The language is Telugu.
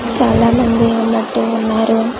చాలా మంది ఉన్నట్టు ఉన్నరు .